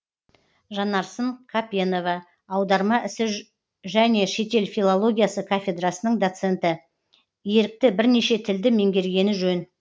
жанарсын қапенова аударма ісі және шетел филологиясы кафедрасының доценті ерікті бірнеше тілді меңгергені жөн